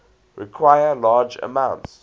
require large amounts